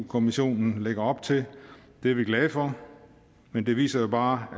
kommissionen lægger op til det er vi glade for men det viser jo bare